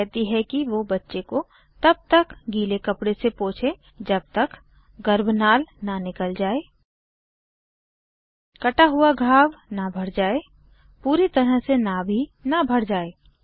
वह कहती है कि वो बच्चे को तब तक गीले कपडे से पोछे जब तक गर्भनाल न निकल जाय कटा हुआ घाव न भर जाय पूरी तरह से नाभि न भर जाय